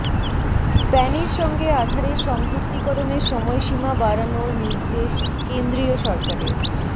প্যানের সঙ্গে আধারের সংযুক্তিকরণের সময়সীমা বাড়ানোর নির্দেশ কেন্দ্রীয় সরকারের